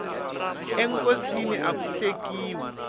enkosini aku hlekiwi